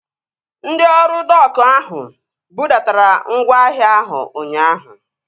Ndị ọrụ dok ahụ budatara ngwaahịa ahụ ụnyaahụ